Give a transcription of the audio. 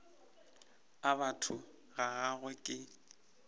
a batho ga gagwe ke